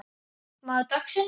Maður dagsins?